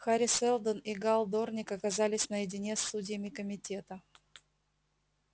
хари сэлдон и гаал дорник оказались наедине с судьями комитета